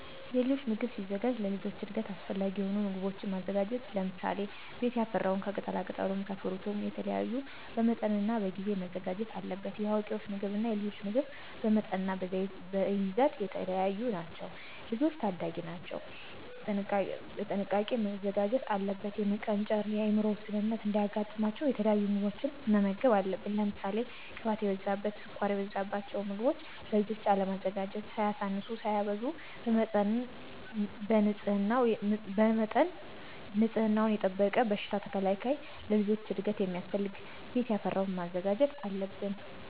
የልጆች ምግብ ሲዘጋጅ ለልጆች እድገት አሰፈላጊ የሆኑ ምጎቦችን ማዘጋጀት ለምሳሌ፦ ቤት ያፈራውን ከቅጣላቅጠሉም ከፍሩትም የተለያዩ በመጠንናበጊዜ መዘጋጀት አለበት። የአዋቂወች ምግብ እና የልጆች ምግብ በመጠንናበይዘት የተለያዩ ናቸው። ልጆች ታዳጊወች ናቸው ቀጥንቃ መዘጋጀት አለበት። የመቀንጨርን የአምሮ ውስንነት እንዳያጋጥማቸው የተለያዩ ምግቦችን መመገብ አለብን። ለምሳሌ ቅባት የበዛበት፣ ስኳር የበዛበቸውን ምገቦችን ለልጆች አለማዘጋጀት። ሳያሳንሱ ሳያበዙ በመጠን ንፅህናወን የጠበቀ በሽታ ተከላካይ ለልጆች እድገት ሚያስፈልገውን ቤት ያፈራወን ማዘጋጀት አለብን።